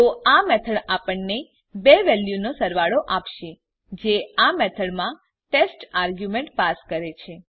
તો આ મેથડ આપણને બે વેલ્યુનો સરવાળો આપશે જે આ મેથડમાં ટેસ્ટ આર્ગ્યુમેંટ પાસ કરે છે